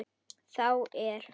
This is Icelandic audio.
þá er